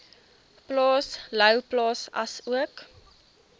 plaas louwplaas asook